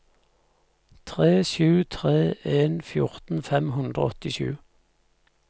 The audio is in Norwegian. tre sju tre en fjorten fem hundre og åttisju